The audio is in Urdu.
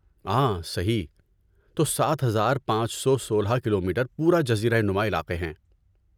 آں صحیح! تو سات ہزار پانچ سو سولہ کلومیٹر پورا جزیرہ نما علاقے ہے